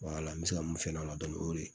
an bɛ se ka mun f'a la dɔnni o y'o de ye